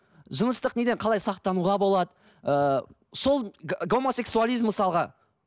жыныстық неден қалай сақтануға болады ыыы сол гомосексуализм мысалға